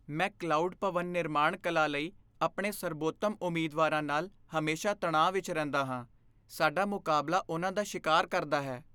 ਮੈਂ ਕਲਾਉਡ ਭਵਨ ਨਿਰਮਾਣ ਕਲਾ ਲਈ ਆਪਣੇ ਸਰਬੋਤਮ ਉਮੀਦਵਾਰਾਂ ਨਾਲ ਹਮੇਸ਼ਾ ਤਣਾਅ ਵਿੱਚ ਰਹਿੰਦਾ ਹਾਂ। ਸਾਡਾ ਮੁਕਾਬਲਾ ਉਨ੍ਹਾਂ ਦਾ ਸ਼ਿਕਾਰ ਕਰਦਾ ਹੈ।